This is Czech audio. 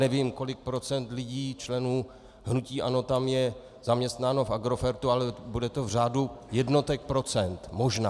Nevím, kolik procent lidí členů hnutí ANO tam je zaměstnáno v Agrofertu, ale bude to v řádu jednotek procent možná.